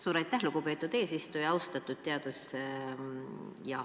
Suur aitäh, lugupeetud eesistuja!